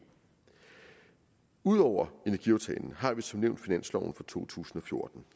ud over energiaftalen har vi som nævnt finansloven for to tusind og fjorten